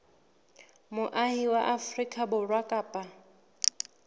moahi wa afrika borwa kapa